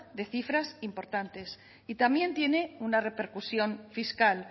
de cifras importantes y también tiene una repercusión fiscal